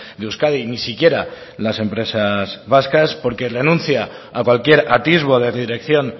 de euskadi ni siquiera las empresas vascas porque renuncia a cualquier atisbo de dirección